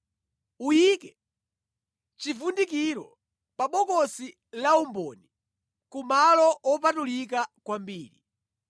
Uyike chivundikiro pa bokosi laumboni ku malo wopatulika kwambiri.